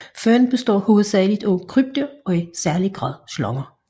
Føden består hovedsageligt af krybdyr og i særlig grad slanger